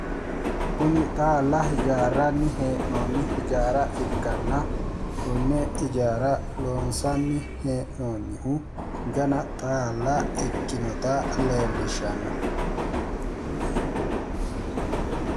kuni xaalla hijaarranni hee'noonni hijaara ikkanna konne ijaara loonsanni heee'noonnihu gana xaalla ikkinota leellishshanno.